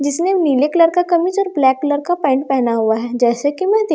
जिसने नीले कलर का कमीज और ब्लैक कलर का पैंट पेहना हुआ हैं जैसे की मैं देख --